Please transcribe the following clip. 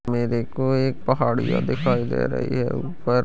मेरे को एक पहाड़िया दिखाई दे रही हैं ऊपर--